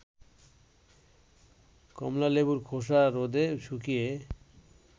কমলালেবুর খোসা রোদে শুকিয়ে